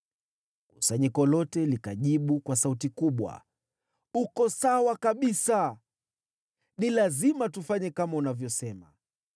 Kusanyiko lote likajibu kwa sauti kubwa: “Uko sawa kabisa! Ni lazima tufanye kama unavyosema.